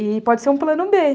E pode ser um plano bê